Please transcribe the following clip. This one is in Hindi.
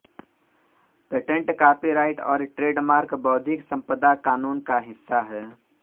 पेटेंट कॉपीराइट और ट्रेडमार्क बौद्धिक संपदा कानून का हिस्सा हैं